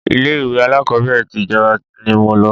ilé ìwé alákọ́bẹ̀rẹ̀ ti ìjọba ni mo lọ